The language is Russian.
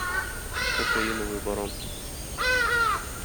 кокаиновый барон